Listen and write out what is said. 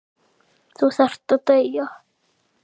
Þú þarft að deyja.